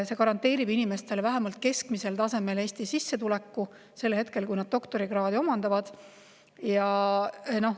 See garanteerib inimestele vähemalt Eesti keskmisel tasemel sissetuleku sel ajal, kui nad doktorikraadi omandavad.